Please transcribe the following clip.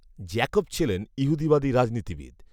Jacob ছিলেন ঈহুদীবাদী রাজনীতিবিদ